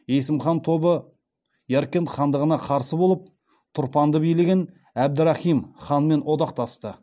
есім хан тобы яркент хандығына қарсы болып тұрпанды билеген әбдірахим ханмен одақтасты